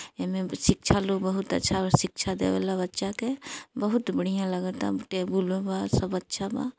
एमे शिक्षा लू बहुत अच्छा और शिक्षा देवेला बच्चा के बहुत बढ़िया लगाता टेबुलों बा सब अच्छा बा।